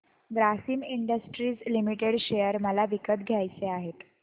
Grasim industries limited share मला विकत घ्यायचे आहेत